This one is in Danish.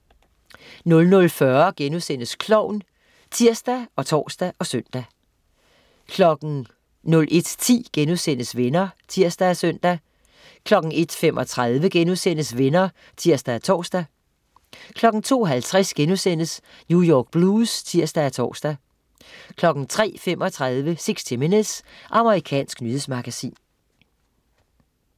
00.40 Klovn* (tirs og tors og søn) 01.10 Venner* (tirs og søn) 01.35 Venner* (tirs og tors) 02.50 New York Blues* (tirs og tors) 03.35 60 minutes. Amerikansk nyhedsmagasin